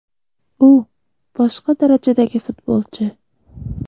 U – boshqa darajadagi futbolchi”.